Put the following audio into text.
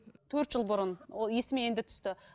төрт жыл бұрын ол есіме енді түсті